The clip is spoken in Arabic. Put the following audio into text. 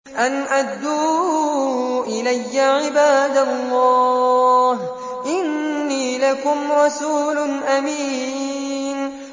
أَنْ أَدُّوا إِلَيَّ عِبَادَ اللَّهِ ۖ إِنِّي لَكُمْ رَسُولٌ أَمِينٌ